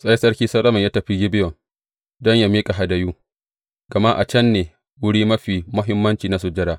Sai sarki Solomon ya tafi Gibeyon don yă miƙa hadayu, gama a can ne wuri mafi muhimmanci na sujada.